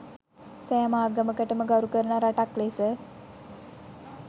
සෑම ආගමකටම ගරුකරන ‍රටක් ලෙස